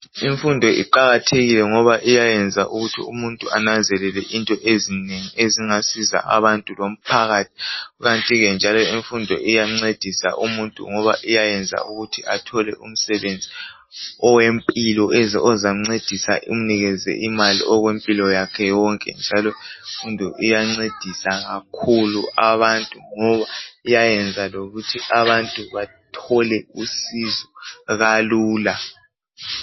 Imfundo iqakathekile ngoba iyayenza ukuthi umuntu ananzelele into ezinengi ezingasiza abantu lomphakathi. Kukanti ke njalo imfundo iyancedisa umuntu ngoba iyayenza ukuthi athole umsebenzi owempilo ozamncedisa umnikeze imali okwe impilo yakhe yonke njalo, imfundo iyancedisa kakhulu abantu ngoba iyayenza lokuthi abantu bathole usizo kalula.